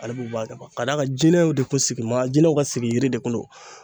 Ale b'o a dama ka d'a kan jinɛw de kun sigin bɛ jinɛw ka sigi yiri de kun don.